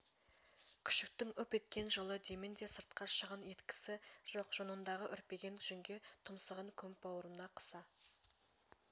күшіктің үп еткен жылы демін де сыртқа шығын еткісі жоқ жонындағы үрпиген жүнге тұмсығын көміп бауырына қыса